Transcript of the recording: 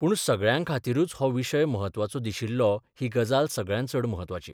पूण सगळ्यांखातीरूच हो विशय म्हत्वाचो दिशिल्लो ही गजाल सगळ्यांत चड म्हत्वाची.